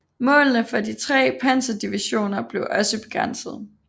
Målene for de tre panserdivisioner blev også begrænset